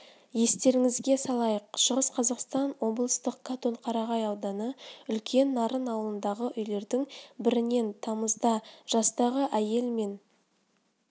естеріңізге салайық шығыс қазақстан облыстық қатон-қарағай ауданы үлкен нарын ауылындағы үйлердің бірінен тамызда жастағы әйел мен